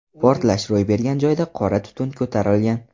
Portlash ro‘y bergan joyda qora tutun ko‘tarilgan.